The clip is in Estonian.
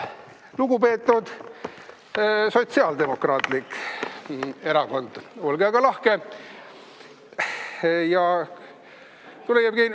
Lugupeetud Sotsiaaldemokraatlik Erakond, olge aga lahke!